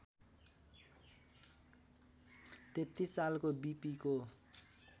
३३ सालको विपीको